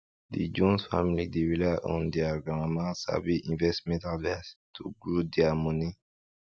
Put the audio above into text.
di jones family dey rely on deir grandmama sabi investment advice to grow deir money